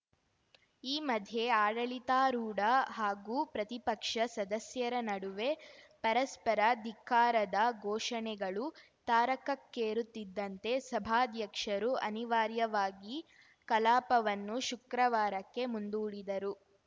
ಈ ಮಧ್ಯೆ ಆಡಳಿತಾರೂಢ ಹಾಗೂ ಪ್ರತಿಪಕ್ಷ ಸದಸ್ಯರ ನಡುವೆ ಪರಸ್ಪರ ಧಿಕ್ಕಾರದ ಘೋಷಣೆಗಳು ತಾರಕಕ್ಕೇರುತ್ತಿದ್ದಂತೆ ಸಭಾಧ್ಯಕ್ಷರು ಅನಿವಾರ್ಯವಾಗಿ ಕಲಾಪವನ್ನು ಶುಕ್ರವಾರಕ್ಕೆ ಮುಂದೂಡಿದರು